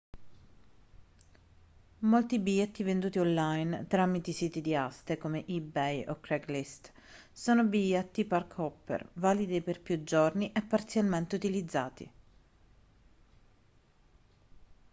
molti biglietti venduti online tramite siti di aste come ebay o craigslist sono biglietti park-hopper validi per più giorni e parzialmente utilizzati